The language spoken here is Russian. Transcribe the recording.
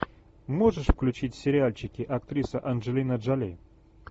можешь включить сериальчики актриса анджелина джоли